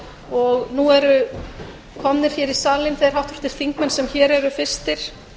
og nú eru komnir í salinn þeir háttvirtir þingmenn sem eru fyrstir